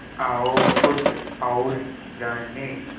आओ कुछ और जानें